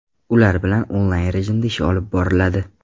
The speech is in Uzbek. Ular bilan onlayn rejimda ish olib boriladi.